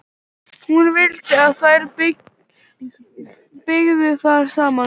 Hún vildi að þær byggju þar saman.